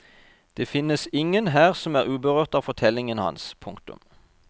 Det finnes ingen her som er uberørt av fortellingen hans. punktum